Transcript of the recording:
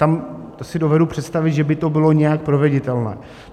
Tam si dovedu představit, že by to bylo nějak proveditelné.